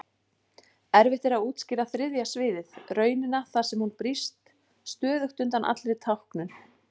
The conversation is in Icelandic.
Erfitt er að útskýra þriðja sviðið, raunina þar sem hún brýst stöðugt undan allri táknun.